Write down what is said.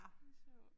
Det sjovt